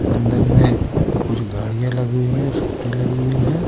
अंदर में कुछ गाड़ियां लगी है स्कूटी लगी हुई है.